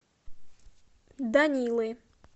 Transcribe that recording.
данилы